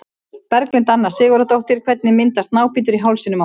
Berglind Anna Sigurðardóttir Hvernig myndast nábítur í hálsinum á manni?